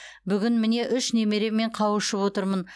бүгін міне үш немереммен қауышып отырмын